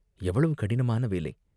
எவ்வளவு கடினமான வேலை!